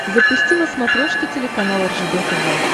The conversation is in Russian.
запусти на смотрешке телеканал ржд тв